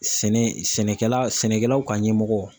Sɛnɛ sɛnɛkɛla sɛnɛkɛlaw ka ɲɛmɔgɔ.